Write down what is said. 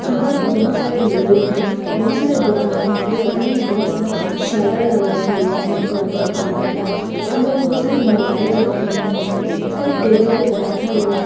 अंदर में बहुत सारे लोग हैं बहुत सारे दुकानें है दुकान में बहुत सारा शटर लगाया हुआ है पर्पल कलर का अंदर बहुत सारे मोबाइल रखे हुए हैं कोई टेबल पे बैठा हुआ है।